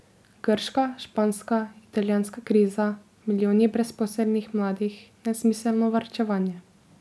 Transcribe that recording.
Grška, španska, italijanska kriza, milijoni brezposelnih mladih, nesmiselno varčevanje...